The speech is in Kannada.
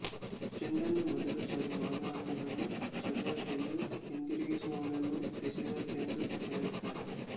ಚೆಂಡನ್ನು ಮೊದಲು ಸರ್ವ್ ಮಾಡುವಾತನನ್ನು ಸರ್ವರ್ ಎಂದೂ ಹಿಂದಿರುಗಿಸುವವನನ್ನು ರಿಸೀವರ್ ಎಂದೂ ಕರೆಯುತ್ತಾರೆ